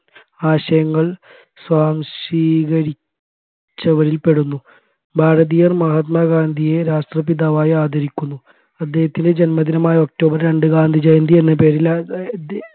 ആശയങ്ങൾ സ്വാംശീകരിച്ചവരിൽ പെടുന്നു ഭാരതീയർ മഹാത്മാ ഗാന്ധിയെ രാഷ്ട്രപിതാവായി ആദരിക്കുന്നു അദ്ദേഹത്തിൻറെ ജന്മദിനമായ ഒക്ടോബർ രണ്ട് ഗാന്ധിജയന്തി എന്ന പേരിൽ